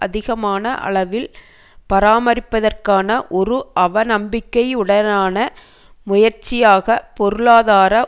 அதிகமான அளவில் பராமரிப்பதற்கான ஒரு அவநம்பிக்கையுடனான முயற்சியாக பொருளாதார